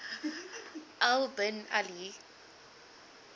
al bin ali